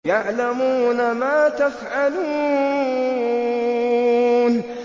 يَعْلَمُونَ مَا تَفْعَلُونَ